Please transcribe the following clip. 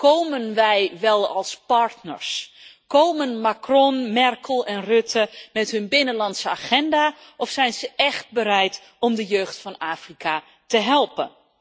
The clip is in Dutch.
Komen wij wel als partners, komen Macron, Merkel en Rutte met hun binnenlandse agenda of zijn ze echt bereid om de jeugd van Afrika te helpen?